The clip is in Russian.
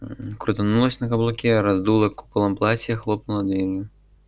крутнулась на каблуке раздула куполом платье хлопнула дверью